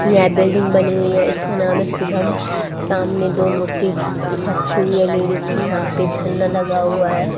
यहां बिल्डिंग बनी हुई है इसका नाम है शुभम सामने दो मूर्ति रखी हुई है लेडिस कि यहां पे झंडा लगा हुआ है।